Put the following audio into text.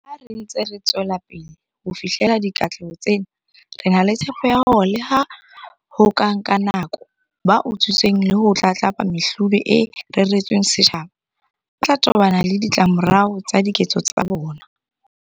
Ha re ntse re tswelapele ho fihlella dikatleho tsena, re na le tshepo ya hore leha ho ka nka nako, ba utswitseng le ho tlatlapa mehlodi e reretsweng setjhaba ba tla tobana le ditlamorao tsa diketso tsa bona.